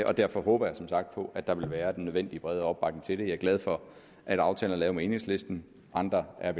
og derfor håber jeg som sagt på at der vil være den nødvendige brede opbakning til det jeg er glad for at aftalen er lavet med enhedslisten og andre er